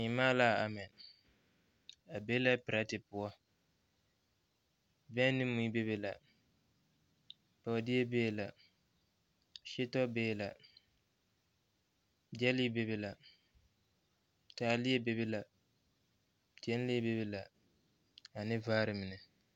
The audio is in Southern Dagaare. Seema la a ama. A be la petrɛte poɔ. Bɛŋ ne mui bebe la, bɔɔdeɛ bebe la. setɔ bebe la, gyɛlee bebe la, taaleɛ bebe la, gyenle bebe la ane vaare mine.